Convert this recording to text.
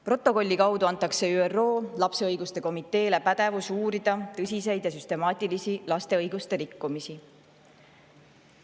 Protokolli kaudu antakse ÜRO lapse õiguste komiteele pädevus uurida tõsiseid ja süstemaatilisi laste õiguste rikkumisi.